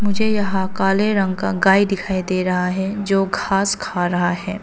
मुझे यहां काले रंग का गाय दिखाई दे रहा है जो घास खा रहा है।